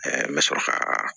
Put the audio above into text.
n bɛ sɔrɔ ka